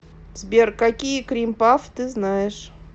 сбер какие крим пафф ты знаешь